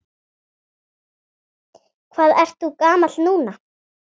Hvað ertu gamall núna?